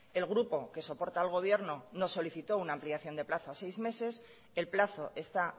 el grupo que soporta al gobierno nos solicitó una ampliación de plazo a seis meses el plazo está